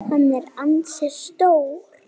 Hann er ansi stór.